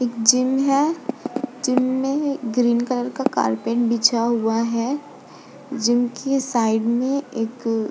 इक जिम है। जिम में ग्रीन कलर का कारपेट बिछा हुआ है। जिम की साइड में एक --